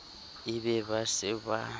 e be ba se ba